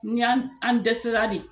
Ni an dɛsɛla de